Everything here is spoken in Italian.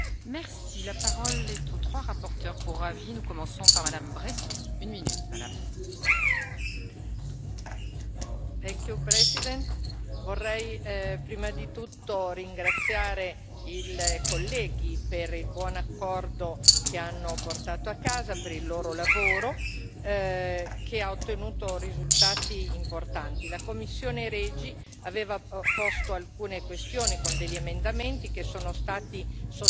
Signora Presidente, onorevoli colleghi, vorrei prima di tutto ringraziare i colleghi per il buon accordo che hanno portato a casa, per il loro lavoro che ha ottenuto risultati importanti. La commissione REGI aveva posto alcune questioni con degli emendamenti che sono stati sostanzialmente accolti, e per questo esprimiamo la nostra soddisfazione.